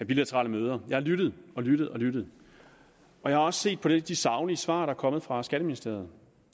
bilaterale møder jeg har lyttet lyttet og lyttet jeg har også set på de saglige svar der er kommet fra skatteministeriet